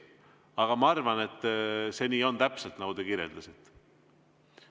Aga ma arvan, et see on täpselt nii, nagu te kirjeldasite.